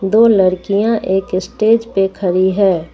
दो लड़कियां एक स्टेज पे खड़ी है।